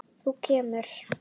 Þú kemur.